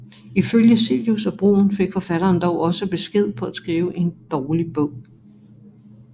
Ifølge Cillius og Bruun fik forfatteren dog også besked på at skrive en dårlig bog